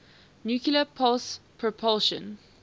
nuclear pulse propulsion